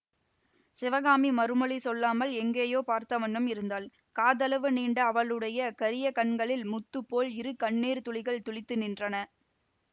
சிவகாமி மறுமொழி சொல்லாமல் எங்கேயோ பார்த்தவண்ணம் இருந்தாள் காதளவு நீண்ட அவளுடைய கரிய கண்களில் முத்துப்போல் இரு கண்ணீர் துளிகள் துளித்து நின்றன